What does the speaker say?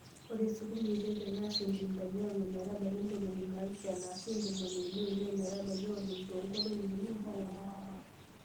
Ore sukuma e Ethiopia naa sentimitai onom metabaiki ntomoni naapishana aashu tomoni uni omiet metabaiki onom too nkolong'I uni mpaka ong'wan.